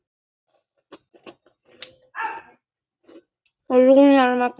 Rúnar Magni.